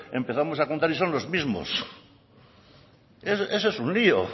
empezamos a contar y son los mismos eso es un lio